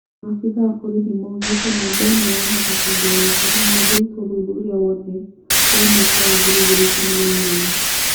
Maabithaa a borithi maugĩte namba ĩno yahota kwongerereka mangĩruta ũthuthuria wothe wa mwaka wa ngiri igĩrĩ na ikũmi na inyanya.